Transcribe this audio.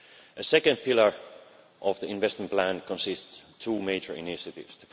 A second pillar of the investment plan consists of two major initiatives.